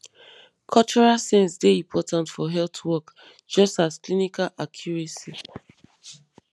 cultural sense dey important for health work just as clinical accuracy